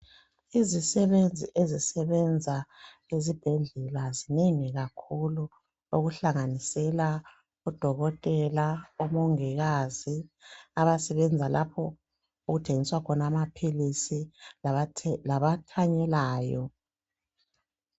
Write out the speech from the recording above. Izisebenzi ezisebenza ezibhedlela zinengi kakhulu, okuhlanganisela odokotela, omongikazi. Abasebenza lapho okuthengiswa khona amaphilisi. Labathanyelayo.